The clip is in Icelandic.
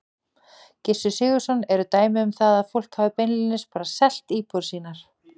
Gissur Sigurðsson: Eru dæmi um það að fólk hafi beinlínis bara selt íbúðir sínar?